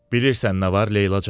Bilisən nə var Leylacana?